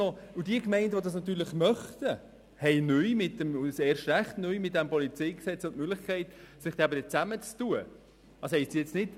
Diejenigen Gemeinden, die das möchten, haben mit diesem PolG neu die Möglichkeit sich zusammenzuschliessen.